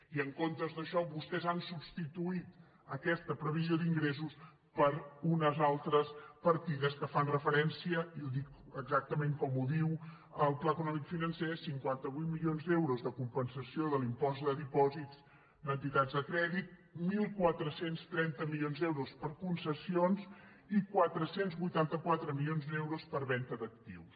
i en comptes d’això vostès han substituït aquesta previsió d’ingressos per unes altres partides que fan referència i ho dic exactament com ho diu el pla econòmic financer a cinquanta vuit milions d’euros de compensació de l’impost de dipòsits d’entitats de crèdit catorze trenta milions d’euros per concessions i quatre cents i vuitanta quatre milions d’euros per venda d’actius